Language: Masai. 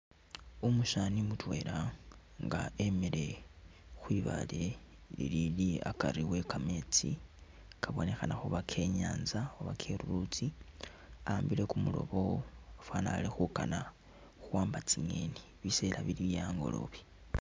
Umusani mutwela nga emile khwibale lilili akari wekametsi kabonekhana khuba ke’nyantsa oba kelulutsi awambile kumurobo fwana ali khukana khuwamba tsinyeni, bisela bili bye angolobe.